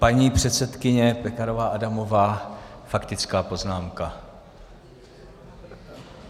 Paní předsedkyně Pekarová Adamová, faktická poznámka.